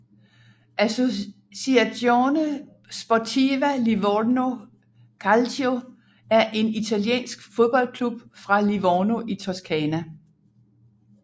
Associazione Sportiva Livorno Calcio er en italiensk fodboldklub fra Livorno i Toscana